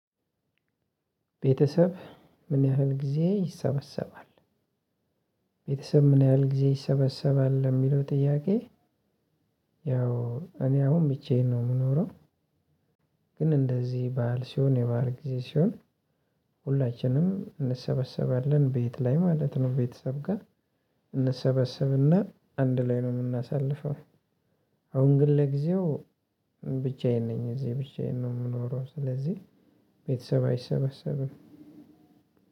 ቤተሰብ ምን ያህል ጊዜ ይሰበሰባል? ቤተሰብ ምን ያህል ጊዜ ይሰበሰባል ለሚለው ጥያቄ? ያው እኔ አሁን ብቻዬን ነው የምኖረው። ግን እንደዚህ ባዓል ሲሆን የባዓል ጊዜ ሲሆን። ሁላችንም እንሰበሰባለን ቤት ላይ ማለት ነው ቤተሰብ ጋር እንሰበሰብና አንድ ላይ ነው ምናሳልፈው። አሁን ግን ለጊዜው ብቻዬን ነኝ እዚህ ብቻዬን ነው የምኖረው ስለዚህ። ቤተሰብ አይሰበሰብም።